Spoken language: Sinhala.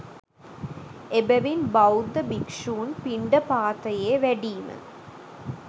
එබැවින් බෞද්ධ භික්‍ෂූන් පිණ්ඩපාතයේ වැඩීම